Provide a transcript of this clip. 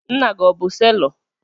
Nna gị o bụ selọ?